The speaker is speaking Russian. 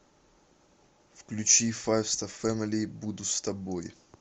включи файфста фэмили буду с тобой